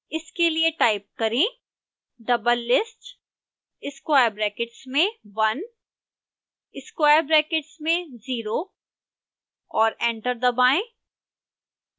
इसके लिए टाइप करें: doublelist square brackets में one square brackets में zero और एंटर दबाएं